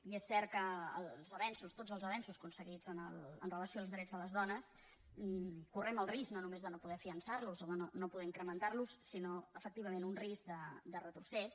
i és cert que els avenços tots els avenços aconseguits amb relació als drets de les dones correm el risc no només de no poder fiançar los o de no poder incrementar los sinó efectivament un risc de retrocés